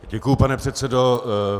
Děkuji, pane předsedo.